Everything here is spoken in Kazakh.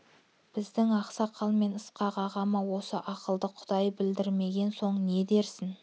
біздің ақсақал мен ысқақ ағама осы ақылды құдай білдірмеген соң не дерсің